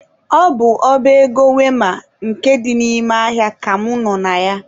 Ọ bụ ọba ego wema nke dị n'ime ahịa ka mụ nọ na ya.